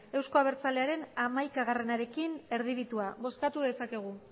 euzko abertzalearen hamaikaarekin erdibitua bozkatu dezakegu